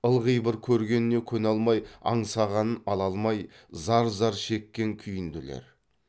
ылғи бір көргеніне көне алмай аңсағанын ала алмай зар зар шеккен күйінділер